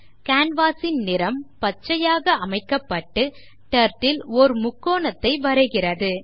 Canvas ன் நிறம் பச்சையாக அமைக்கப்பட்டு டர்ட்டில் ஓர் முக்கோணத்தை வரைகிறது